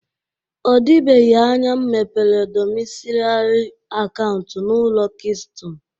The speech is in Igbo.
O dịbeghi anya m mepere dọmisilairi akauntụ n'ụlọaku kiston